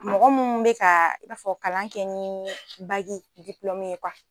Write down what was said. Mɔgɔ munnu bɛ ka i b'a fɔ kalan kɛ ni bagi ye